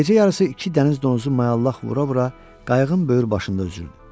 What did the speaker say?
Gecə yarısı iki dəniz donuzu mayallaq vura-vura qayıqın böyür başında üzürdü.